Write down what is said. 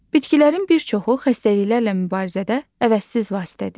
Bitkilərin bir çoxu xəstəliklərlə mübarizədə əvəzsiz vasitədir.